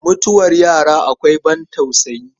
Mutuwar yara akwai ban tausayi.